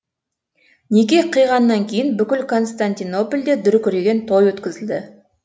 неке қиғаннан кейін бүкіл константинопольде дүркіреген той өткізілді